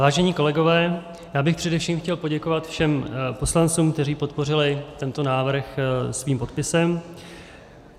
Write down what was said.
Vážení kolegové, já bych především chtěl poděkovat všem poslancům, kteří podpořili tento návrh svým podpisem.